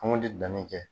An ŋ'o de dannen kɛ